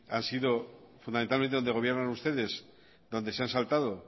han sido fundamentalmente donde gobiernan ustedes donde se han saltado